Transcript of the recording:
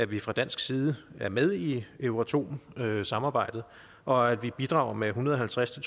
vi fra dansk side er med i euratom samarbejdet og at vi bidrager med en hundrede og halvtreds til